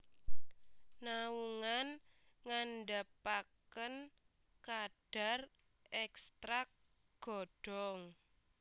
Naungan ngandhapaken kadar ekstrak godhong